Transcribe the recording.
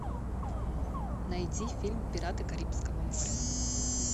найди фильм пираты карибского моря